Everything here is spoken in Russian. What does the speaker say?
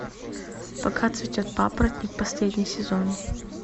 пока цветет папоротник последний сезон